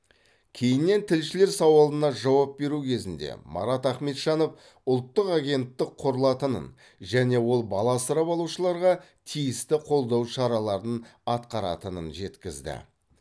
кейіннен тілшілер сауалына жауап беру кезінде марат ахметжанов ұлттық агенттік құрылатынын және ол бала асырап алушыларға тиісті қолдау шараларын атқаратынын жеткізді